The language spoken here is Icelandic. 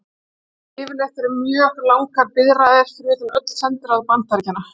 Yfirleitt eru mjög langar biðraðir fyrir utan öll sendiráð Bandaríkjanna.